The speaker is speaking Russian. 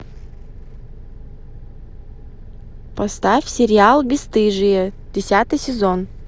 поставь сериал бесстыжие десятый сезон